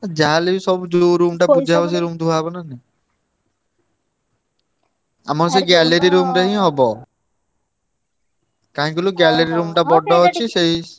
ଯାହାହେଲେବି ସବୁ ଯୋଉ room ଟା ସେଇ room ଧୁଆ ହବ ନା ନାଇଁ। ଆମର ସେଇ ହିଁ ହବ। କାହିଁକି କହିଲୁ ବଡ ଅଛି ସେଇ।